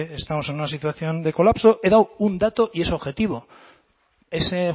estamos en una situación de colapso he dado un dato y es objetivo ese